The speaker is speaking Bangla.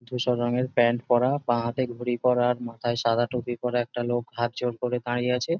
ধূসর রঙের প্যান্ট পড়া বাঁহাতে ঘড়ি পড়া আর মাথায় সাদা টুপি পড়া একটা লোক হাত জোর করে দাঁড়িয়ে আছে।